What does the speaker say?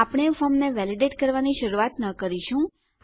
આપણે ફોર્મને વેલીડેટ કરવાની શરૂઆત ન કરીશું